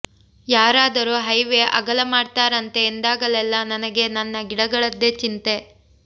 ಯಾರಾದರೂ ಹೈವೆ ಅಗಲ ಮಾಡ್ತಾರಂತೆ ಎಂದಾಗಲೆಲ್ಲ ನನಗೆ ನನ್ನ ಗಿಡಗಳದ್ದೇ ಚಿಂತೆ